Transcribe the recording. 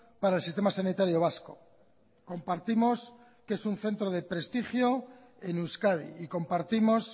para el sistema sanitario vasco compartimos que es un centro de prestigio en euskadi y compartimos